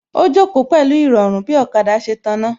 Ó jókòó pẹ̀lú Ìrọ̀rùn bí ọ̀kada ṣe tàná